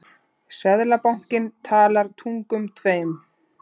Seðlabankinn talar tungum tveim